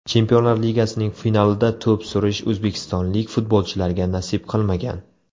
Chempionlar Ligasining finalida to‘p surish o‘zbekistonlik futbolchilarga nasib qilmagan.